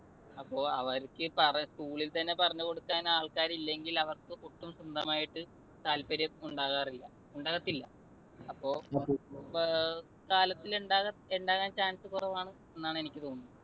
അപ്പൊ അവർക്ക് പറ ~ school ൽ തന്നെ പറഞ്ഞുകൊടുക്കാൻ ആൾക്കാരില്ലെങ്കിൽ അവർക്ക് സ്വന്തമായിട്ട് താത്പര്യം ഉണ്ടാകാറില്ല, ഉണ്ടാകത്തില്ല. അപ്പൊ കാലത്തിൽ ഉണ്ടാകാൻ ~ ഉണ്ടാകാൻ chance കുറവാണ് എന്നാണ് എനിക്ക് തോന്നുന്നത്.